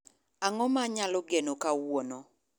Ang'o ma anyalo geno kawuono